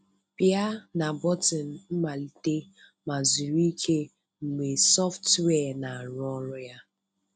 Pịa na bọtịnụ "Mmalite" ma zuru ike mgbe sọftụwia na-arụ ọrụ ya.